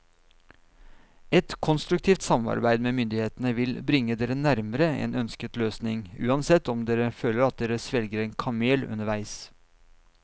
Et konstruktivt samarbeid med myndighetene vil bringe dere nærmere en ønsket løsning, uansett om dere føler at dere svelger en kamel underveis.